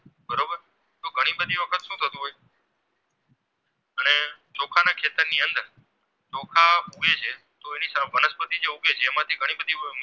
વનસ્પતિ જે ઉગે છે એમાંથી ઘણી બધી